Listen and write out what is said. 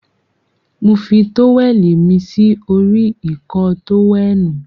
Mo fi tówẹ̀lì mí sí orí Ìkọ́ọ tówẹ́ẹ̀nù.